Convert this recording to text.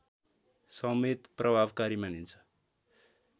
समेत प्रभावकारी मानिन्छ